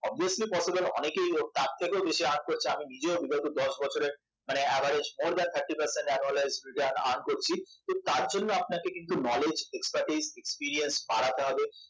obviously possible অনেকেই তার থেকেও বেশি earn করছে আমি নিজেও বিগত দশ বছরের মানে average more than thirty percent an annualege return earn করছি তো তার জন্য কিন্তু আপনাকে knowledge expertise eperience বাড়াতে হবে